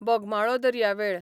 बोगमाळो दर्यावेळ